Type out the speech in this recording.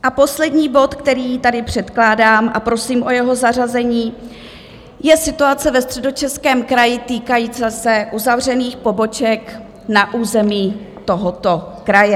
A poslední bod, který tady předkládám a prosím o jeho zařazení, je situace ve Středočeském kraji týkající se uzavřených poboček na území tohoto kraje.